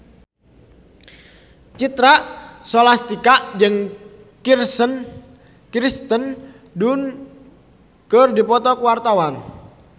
Citra Scholastika jeung Kirsten Dunst keur dipoto ku wartawan